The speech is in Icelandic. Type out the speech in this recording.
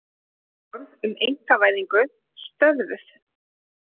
Áform um einkavæðingu stöðvuð